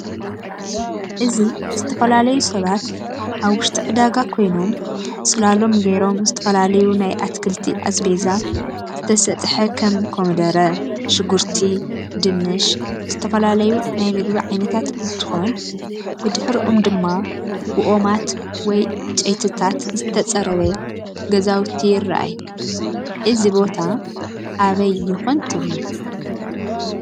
እዚ ዝተፈላለዩ ሰባት ኣብ ውሽጢ ዕዳጋ ኮይኑ ፅላሎም ገይሮ ዝተፈላለዩ ናይ ኣትክልቲ ኣዝፈዛ ዝተሰጥሕ ከም ኮምደረ፣ ሽጉርቲ፣ ድንሽ፣ ዝተፈላላዩ ናይ ምግብ ዓይነታት እንትኮን ብድሕሮኦም ድማ ብኦማት ወይ ዕንጨይቲታ ዝተፀረበ ገዛውቲ ይርኣይ እዚ ቦታ ኣበይ ይኴን ትብሉ?